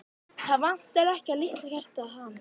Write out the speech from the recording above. Það vantar ekki að litla hjartað hamist.